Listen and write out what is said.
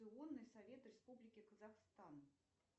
совет республики казахстан